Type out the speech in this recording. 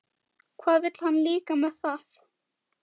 Hvað vill hann líka með það?